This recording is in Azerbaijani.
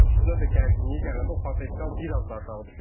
Üstünə də gərginlik gələndə o potensial biraz da aşağı düşür.